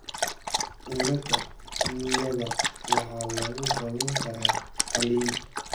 cilada xininyaga waxaa lagu daweyn karaa qalliin.